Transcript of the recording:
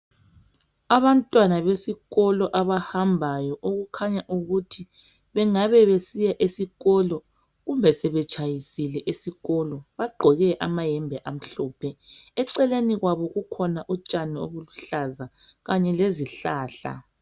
Abantwana besikolo abahambayo okukhanya ukuthi bengabe besiya esikolo kumbe sebetshayisile esikolo .Bagqoke amayembe amhlophe eceleni kwabo kukhona utshani obuluhlaza .Kanye lezihlahla.